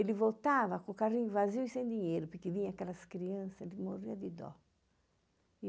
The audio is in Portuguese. Ele voltava com o carrinho vazio e sem dinheiro, porque vinha aquelas crianças, ele morria de dó.